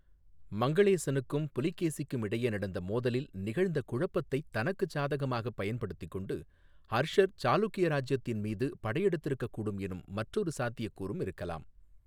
மங்களேசனுக்கும் புலிகேசிக்கும் இடையே நடந்த மோதலில் நிகழ்ந்த குழப்பத்தைத் தனக்குச் சாதகமாகப் பயன்படுத்திக்கொண்டு ஹர்ஷர் சாளுக்கிய இராஜ்ஜியத்தின் மீது படையெடுத்திருக்கக்கூடும் எனும் மற்றொரு சாத்தியக்கூறும் இருக்கலாம்.